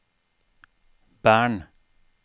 Bern